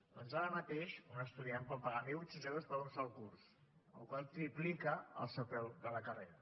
doncs ara mateix un estudiant pot pagar mil vuit cents euros per un sol curs amb la qual cosa triplica el seu preu de la carrera